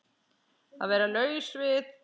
Að vera laus við